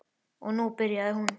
Og nú byrjaði hún.